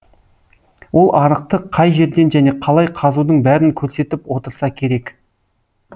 ол арықты қай жерден және қалай қазудың бәрін көрсетіп отырса керек